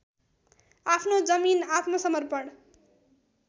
आफ्नो जमिन आत्मसमर्पण